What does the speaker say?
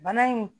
Bana in